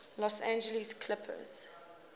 los angeles clippers